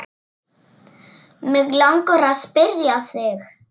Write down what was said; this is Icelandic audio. Mig langar að spyrja þig.